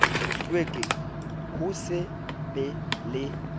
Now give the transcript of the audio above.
hlweke ho se be le